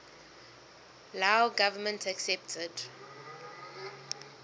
lao government accepted